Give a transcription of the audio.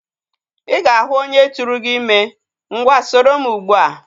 Ị ga-ahu onye turu gi ime. Ngwa soro m ugbu a!